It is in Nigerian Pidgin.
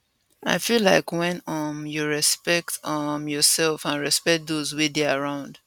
i feel like wen um you respect um yoursef and respect dos wey dey around